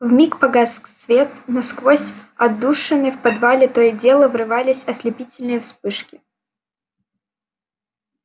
в миг погас свет но сквозь отдушины в подвале то и дело врывались ослепительные вспышки